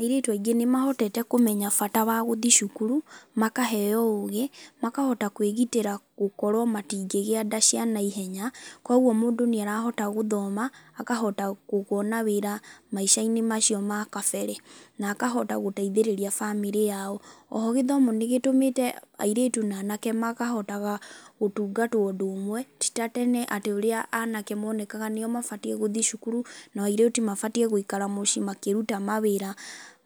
Airĩtu aingĩ nĩmahotete kũmenya bata wa gũthiĩ cukuru makaheo ũgi makahota kwĩgitĩra gũkorwo matingĩgia nda cia naihenya, kwoguo mũndũ nĩarahota gũthoma, akahota kũ kwona wĩra maica-inĩ macio ma kabere na akahota gũteithĩrĩria bamĩrĩ yao. Oho gĩthomo nĩgĩtũmĩte airĩtu na anake makahotaga gũtungatwo ũndũ ũmwe, tĩ ta tene atĩ ũria anake monekaga nĩo mabatiĩ gũthiĩ cukuru, nao airĩtu mabatiĩ gũikaa mũciĩ makĩruta mawĩra